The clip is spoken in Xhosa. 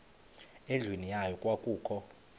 endlwini yayo kwakukho